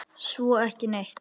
Svo ekki neitt.